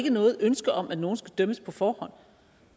ikke noget ønske om at nogen skal dømmes på forhånd